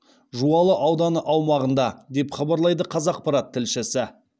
жуалы ауданы аумағында деп хабарлайды қазақпарат тілшісі